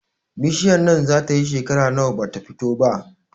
Bishiyar nan zata yi shekera nawa bata fito ba?